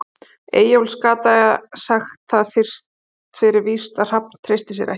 Eyjólfs, gat sagt það fyrir víst að Hrafn treysti sér ekki.